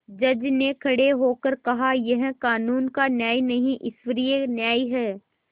जज ने खड़े होकर कहायह कानून का न्याय नहीं ईश्वरीय न्याय है